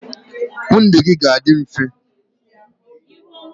ndụ gị ga-adị mfe